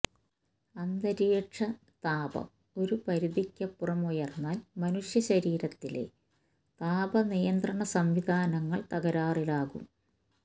അന്തരീക്ഷതാപം ഒരു പരിധിക്കപ്പുറം ഉയർന്നാൽ മനുഷ്യ ശരീരത്തിലെ താപനിയന്ത്രണ സംവിധാനങ്ങൾ തകരാറിലാകും